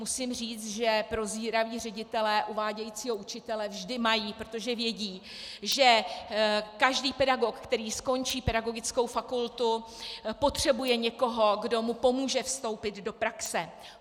Musím říct, že prozíraví ředitelé uvádějícího učitele vždy mají, protože vědí, že každý pedagog, který skončí pedagogickou fakultu, potřebuje někoho, kdo mu pomůže vstoupit do praxe.